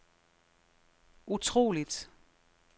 utroligt